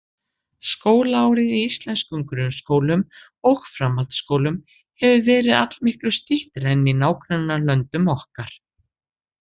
Skólaárið í íslenskum grunnskólum og framhaldsskólum hefur verið allmiklu styttra en í nágrannalöndum okkar.